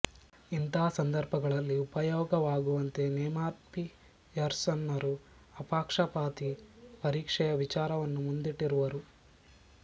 ಇಂಥ ಸಂದರ್ಭಗಳಲ್ಲಿ ಉಪಯೋಗವಾಗುವಂತೆ ನೇಮಾನ್ಪಿಯರ್ಸನ್ನರು ಅಪಕ್ಷಪಾತಿ ಪರೀಕ್ಷೆಯ ವಿಚಾರವನ್ನು ಮುಂದಿಟ್ಟಿರುವರು